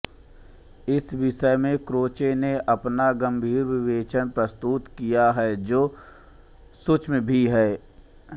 इस विषय में क्रोचे ने अपना गम्भीर विवेचन प्रस्तुत किया है जो सूक्ष्म भी है